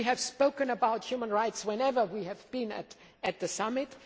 We have spoken about human rights whenever we have been at the summit.